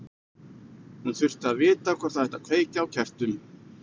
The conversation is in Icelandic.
Hún þurfti að vita hvort það ætti að kveikja á kertum.